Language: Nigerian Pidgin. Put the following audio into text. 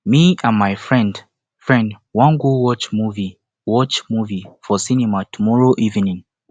me and my friend friend wan go watch movie watch movie for cinema tomorrow evening